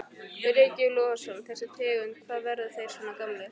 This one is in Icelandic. Breki Logason: Þessi tegund, hvað, verða þeir svona gamlir?